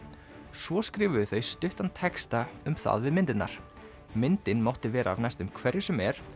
svo skrifuðu þau stuttan texta um það við myndinar myndin mátti vera af næstum hverju sem er